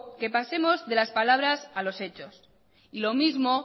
que pasemos de las palabras a los hechos y lo mismo